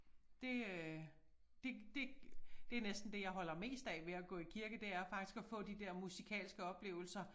Det øh det det det næsten det jeg holder mest af ved at gå i kirke det er faktisk at få de der musikalske oplevelser